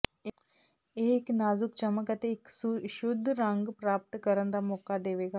ਇਹ ਇੱਕ ਨਾਜੁਕ ਚਮਕ ਅਤੇ ਇੱਕ ਸ਼ੁੱਧ ਰੰਗ ਪ੍ਰਾਪਤ ਕਰਨ ਦਾ ਮੌਕਾ ਦੇਵੇਗਾ